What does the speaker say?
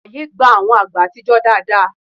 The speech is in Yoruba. Ààyè gba àwọn àgbè àtijọ́ dáadáa